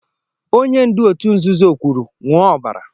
Onye ndu otu nzuzo kwuru, ṅụọ ọbara!